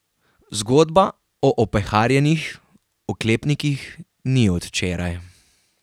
Zgodba o opeharjenih oklepnikih ni od včeraj.